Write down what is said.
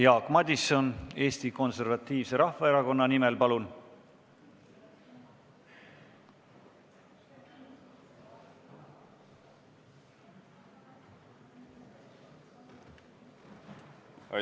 Jaak Madison Eesti Konservatiivse Rahvaerakonna nimel, palun!